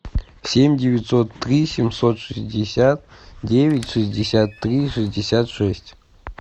семь девятьсот три семьсот шестьдесят девять шестьдесят три шестьдесят шесть